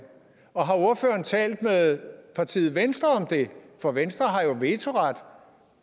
og har ordføreren talt med partiet venstre om det for venstre har jo vetoret